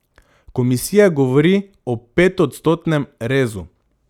Komisija govori o petodstotnem rezu.